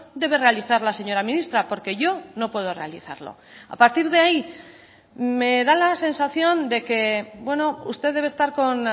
debe realizar la señora ministra porque yo no puedo realizarlo a partir de ahí me da la sensación de que usted debe estar con